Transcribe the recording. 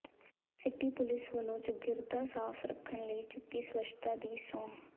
city police ਵਲੋਂ ਚੌਗਿਰਦਾ ਸਾਫ਼ ਰੱਖਣ ਲਈ ਚੁੱਕੀ ਸਵੱਛਤਾ ਦੀ ਸਹੁੰ